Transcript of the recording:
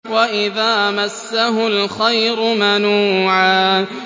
وَإِذَا مَسَّهُ الْخَيْرُ مَنُوعًا